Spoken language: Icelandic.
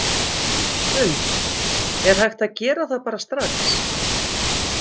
Hrund: Er hægt að gera það bara strax?